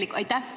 Aitäh!